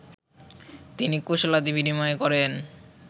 তিনি কুশলাদি বিনিময় করেন